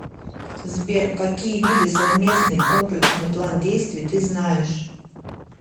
сбер какие виды совместный комплексный план действий ты знаешь